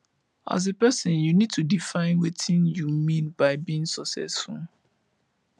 as a person you need to define wetin you mean by being successful